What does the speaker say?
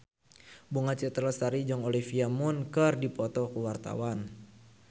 Bunga Citra Lestari jeung Olivia Munn keur dipoto ku wartawan